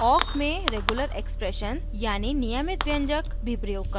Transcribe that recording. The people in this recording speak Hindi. हम awk में regular expressions यानी नियमित व्यंजक भी प्रयोग कर सकते हैं